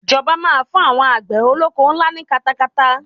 Ìjọba máa fún àwọn àgbè olóko ńlá ní katakata.